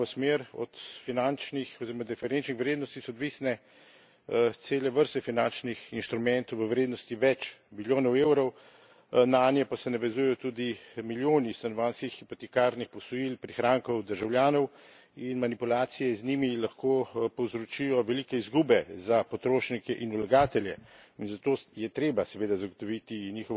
Od finančnih oziroma referenčnih vrednosti so odvisne cele vrste finančnih instrumentov v vrednosti več milijonov eurov, nanje pa se navezujejo tudi milijoni stanovanjskih hipotekarnih posojil, prihrankov državljanov in manipulacije z njimi lahko povzročijo velike izgube za potrošnike in vlagatelje. Zato je treba seveda zagotoviti njihovo točnost,